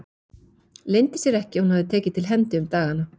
Leyndi sér ekki að hún hafði tekið til hendi um dagana.